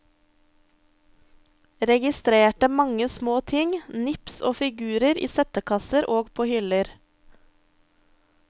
Registrerte mange små ting, nips og figurer i settekasser og på hyller.